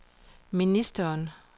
ministeren